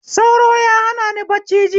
Sauro ya hanani bacci jiya